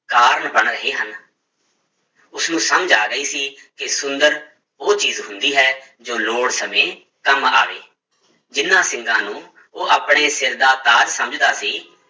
ਕਾਰਨ ਬਣ ਰਹੇ ਹਨ ਉਸਨੂੰ ਸਮਝ ਆ ਗਈ ਸੀ ਕਿ ਸੁੰਦਰ ਉਹ ਚੀਜ਼ ਹੁੰਦੀ ਹੈ ਜੋ ਲੋੜ ਸਮੇਂ ਕੰਮ ਆਵੇ, ਜਿਹਨਾਂ ਸਿੰਗਾਂ ਨੂੰ ਉਹ ਆਪਣੇ ਸਿਰ ਦਾ ਤਾਜ ਸਮਝਦਾ ਸੀ,